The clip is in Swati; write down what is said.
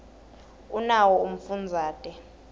unawo umfundazate